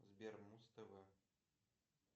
сбер муз тв